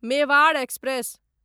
Mewar express